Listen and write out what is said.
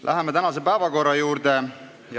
Läheme tänase päevakorra juurde.